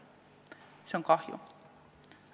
Sellest on kahju.